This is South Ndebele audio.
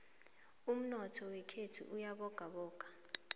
umnotho wekhethu uyabogaboga